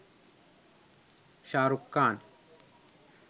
shahrukh khan